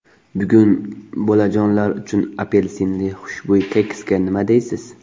Bugun bolajonlar uchun apelsinli xushbo‘y keksga nima deysiz?.